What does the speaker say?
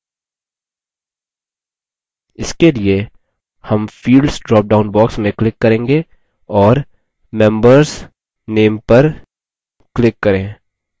इसके लिए name fields drop down box में click करेंगे और members name पर click करे